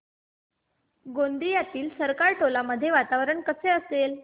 गोंदियातील सरकारटोला मध्ये वातावरण कसे असेल